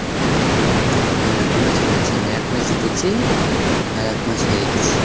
হ্যাঁ দু match খেলেছি আমরা। এক match জিতেছি, আর এক match হেরে গেছি।